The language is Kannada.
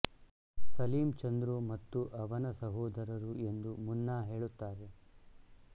ಸಲೀಮ್ ಚಂದ್ರು ಮತ್ತು ಅವನ ಸಹೋದರರು ಎಂದು ಮುನ್ನಾ ಹೇಳುತ್ತಾರೆ